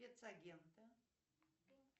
спецагенты